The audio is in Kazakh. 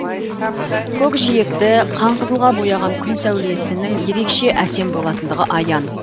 көкжиекті қанқызылға бояған күн сәулесінің ерекше әсем болатындығы аян